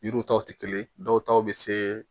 Yiriw taw tɛ kelen dɔw ta bɛ se